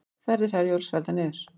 Ferðir Herjólfs felldar niður